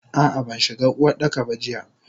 Ah ah banshiga Uwardaka ba jiya.